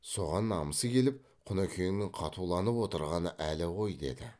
соған намысы келіп құнекеңнің қатуланып отырғаны әлі ғой деді